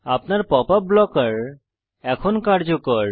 আপনার pop up blocker এখন কার্যকর